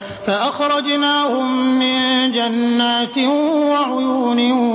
فَأَخْرَجْنَاهُم مِّن جَنَّاتٍ وَعُيُونٍ